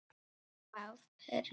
Það er rétt.